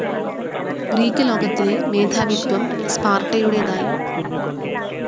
Greek ലോകത്തിലെ മേധാവിത്ത്വം സ്പാർട്ടയുടേതായി.